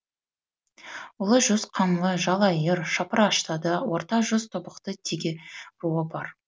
ұлы жүз қаңлы жалайыр шапыраштыда орта жүз тобықты теке руы бар